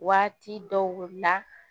Waati dɔw la